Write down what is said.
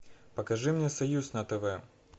покажи мне союз на тв